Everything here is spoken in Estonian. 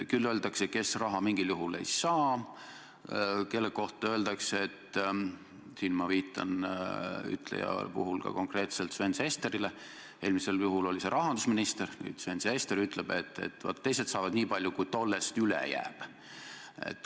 Küll öeldakse, kes raha mingil juhul ei saa, kellegi kohta öeldakse – siin ma viitan konkreetselt Sven Sesterile, eelmisel juhul oli see rahandusminister, nüüd Sven Sester, kes nii ütleb –, et vaat, teised saavad nii palju, kui tollest üle jääb.